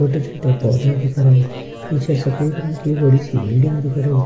छोटे-छोटे पौधा दिख रहा है पीछे सफेद रंग की बड़ी-सी बिल्डिंग दिख रही --